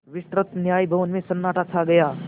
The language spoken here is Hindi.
विस्तृत न्याय भवन में सन्नाटा छा गया